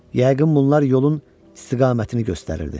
Yəqin bunlar yolun istiqamətini göstərirdi.